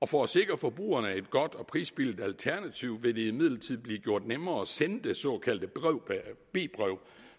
for at sikre forbrugerne et godt og prisbilligt alternativ vil det imidlertid blive gjort nemmere at sende de såkaldte b breve